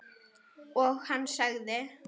Og hann sagði